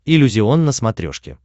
иллюзион на смотрешке